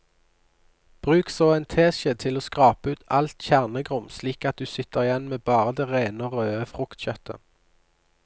Bruk så en teskje til å skrape ut alt kjernegrums slik at du sitter igjen med bare det rene og røde fruktkjøttet.